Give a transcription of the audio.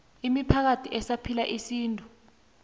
imiphakathi esaphila isintu